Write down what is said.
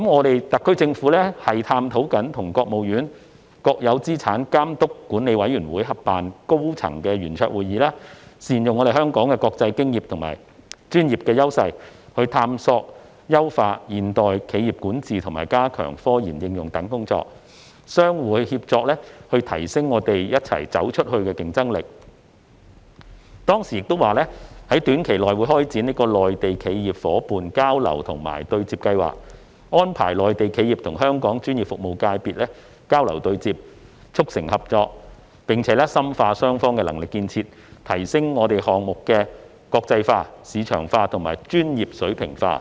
特區政府正探討與國務院國有資產監督管理委員會合辦高層圓桌會議，善用香港的國際經驗和專業優勢，探索優化現代企業管治及加強科研應用等工作，相互協作以提升'走出去'的競爭力；並於未來一年開展'內地企業伙伴交流及對接計劃'，安排內地企業與香港專業服務界別交流對接，促成合作，並深化雙方的能力建設，提升項目的國際化、市場化和專業水平化"。